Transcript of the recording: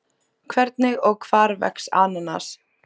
Hvernig og hvar vex ananas?